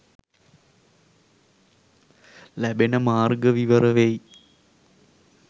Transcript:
ලැබෙන මාර්ග විවර වෙයි.